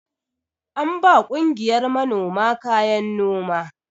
An ba ƙungiyar manoma kayan noma.